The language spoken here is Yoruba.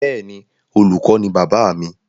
Bẹ́ẹ̀ni, Olùkọ ni bàbáà mi.